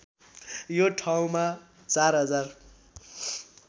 यो ठाउँमा ४०००